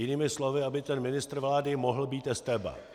Jinými slovy, aby ten ministr vlády mohl být estébák.